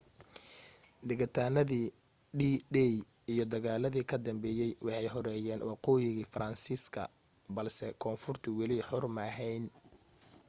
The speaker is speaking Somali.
degitaanadii d-day iyo dagaaladii ka dambeeyay waxay xoreeyeen waqooyiga faransiiska balse koonfurtu wali xor ma ahayn